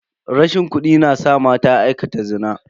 Rashin kudi na sa mata aikata zina.